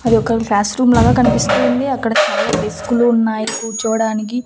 అదొక class room లాగా కనిపిస్తూ ఉంది అక్కడ చాలా డెస్క్ లు ఉన్నాయి కూర్చోవడానికి.